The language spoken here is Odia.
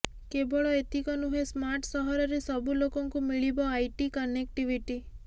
କେବଳ ଏତିକ ନୁହେଁ ସ୍ମାର୍ଟ ସହରରେ ସବୁ ଲୋକଙ୍କୁ ମିଳିବ ଆଇଟି କନେକ୍ଟିଭିଟି